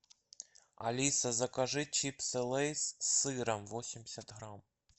алиса закажи чипсы лейс с сыром восемьдесят грамм